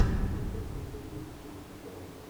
запускай фильм с актрисой дженнифер гарнер